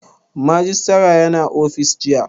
Majistare ya na ofis jiya